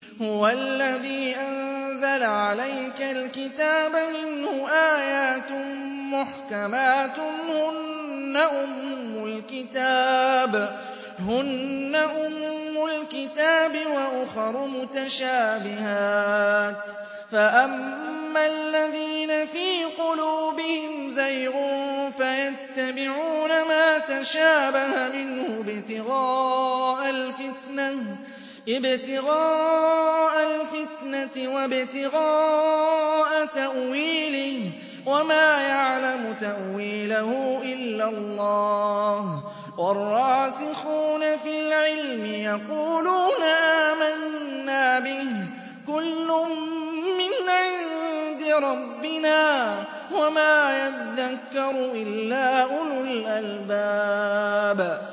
هُوَ الَّذِي أَنزَلَ عَلَيْكَ الْكِتَابَ مِنْهُ آيَاتٌ مُّحْكَمَاتٌ هُنَّ أُمُّ الْكِتَابِ وَأُخَرُ مُتَشَابِهَاتٌ ۖ فَأَمَّا الَّذِينَ فِي قُلُوبِهِمْ زَيْغٌ فَيَتَّبِعُونَ مَا تَشَابَهَ مِنْهُ ابْتِغَاءَ الْفِتْنَةِ وَابْتِغَاءَ تَأْوِيلِهِ ۗ وَمَا يَعْلَمُ تَأْوِيلَهُ إِلَّا اللَّهُ ۗ وَالرَّاسِخُونَ فِي الْعِلْمِ يَقُولُونَ آمَنَّا بِهِ كُلٌّ مِّنْ عِندِ رَبِّنَا ۗ وَمَا يَذَّكَّرُ إِلَّا أُولُو الْأَلْبَابِ